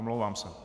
Omlouvám se.